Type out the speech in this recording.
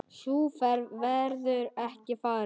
Sú ferð verður ekki farin.